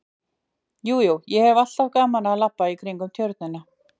Jú, jú, ég hef alltaf gaman af að labba í kringum Tjörnina